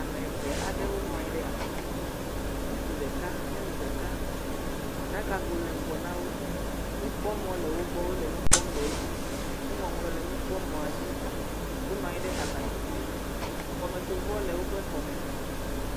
Ame eve aɖewo nɔ anyi ɖe abati dzi. Ŋutsu ɖeka, nyɔnu ɖeka. Aɖakago le ŋgɔ na wo. Nukpɔmɔ le wogbɔ wole nu kpɔ le edzi. Nuŋɔŋlɔ le nukpɔmɔ̃a dzi. Wonɔ anyi ɖe abatidzi. Xɔmetsovɔ le woƒe xɔme.